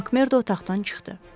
Makmerdo otaqdan çıxdı.